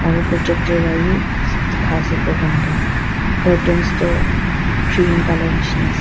aru projector wa wii dikhia ase programme toh curtains tu cream colour nishina ase.